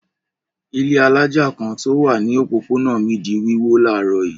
Ilé alájà kan tí ó wà ní òpópónà mi di wíwó láàárọ̀ yìí.